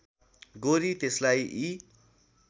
गोरी त्यसलाई यी